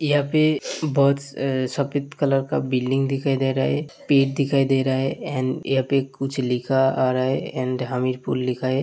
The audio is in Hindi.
यहाँ पे बहुत स सफेद कलर का बिल्डिंग दिखाई दे रहा है पेड दिखाई दे रहा है एंड यहां पे कुछ लिखा आ रहा है एंड हामीरपुर लिखा है।